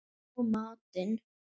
Og matinn